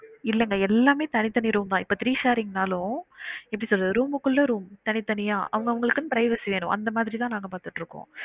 இல்லங்க எல்லாமே தனித்தனி room தான் இப்ப three sharing னாலும் எப்டி சொல்றது room குள்ள room தனித்தனியா அவங்க அவுங்களுக்குன்னு privacy ஆய்ரும் அந்த மாதிரி தான் நாங்க பாத்துட்டு இருக்கோம்